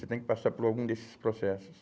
Você tem que passar por algum desses processos.